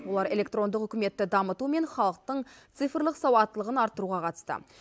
олар электрондық үкіметті дамыту мен халықтың цифрлық сауаттылығын арттыруға қатысты